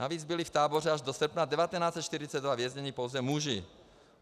Navíc byli v táboře až do srpna 1942 vězněni pouze muži.